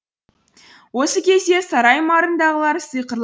осы кезде сарай маңындағылар сиқырлы